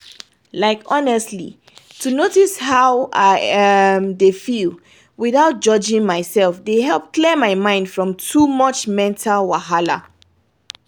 like honestly to notice how i dey feel without judging myself dey help clear my head from too much mental wahala